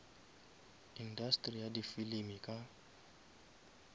industeri ya di filimi ka